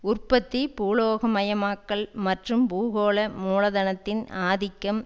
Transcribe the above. உற்பத்தி பூலோக மயமாக்கல் மற்றும் பூகோள மூலதனத்தின் ஆதிக்கம்